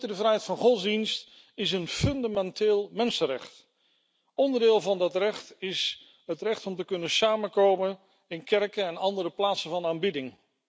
De vrijheid van godsdienst is een fundamenteel mensenrecht. Onderdeel van dat recht is het recht om te kunnen samenkomen in kerken en andere plaatsen van aanbidding.